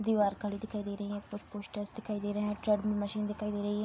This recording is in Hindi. दीवार खड़ी दिखाई दे रही हैं पोस्टर्स दिखाई दे रहे हैं ट्रेडमिल मशीन दिखाई दे रही है।